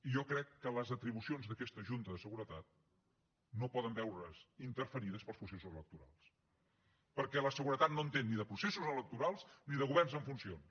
i jo crec que les atribucions d’aquesta junta de seguretat no poden veure’s interferides pels processos electorals perquè la seguretat no entén ni de processos electorals ni de governs en funcions